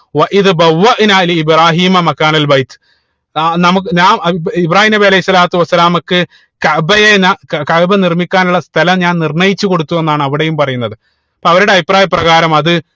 നാ നമുക്ക് ഞാ ഇബ്രാഹീം നബി അലൈഹി സ്വലാത്തു വസ്സലാമക്ക് കഅബയെ നാ കഅബ നിർമിക്കാനുള്ള സ്ഥലം ഞാൻ നിർണയിച്ചു കൊടുത്തു എന്നാണ് അവിടെയും പറയുന്നത് അപ്പൊ അവരുടെ അഭിപ്രായ പ്രകാരം അത്